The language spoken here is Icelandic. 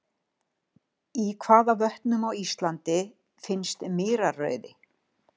Í hvaða vötnum á Íslandi finnst mýrarauði?